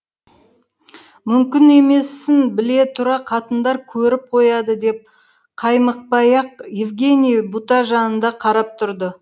мүмкін емесін біле тұра қатындар көріп қояды деп қаймықпай ақ евгений бұта жанында қарап тұрды